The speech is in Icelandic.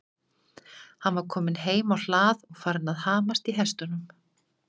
Hann var kominn heim á hlað og farinn að hamast í hestunum.